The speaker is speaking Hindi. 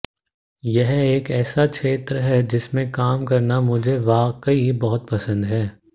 यह एक ऐसा क्षेत्र है जिसमें काम करना मुझे वाकई बहुत पसंद है